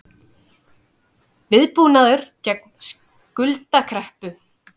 Viðbúnaður gegn skuldakreppu